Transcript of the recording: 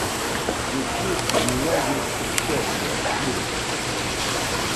включи у меня есть счастье вирус